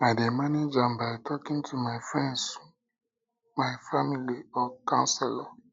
i dey manage am by talking to my friends my friends family or counselor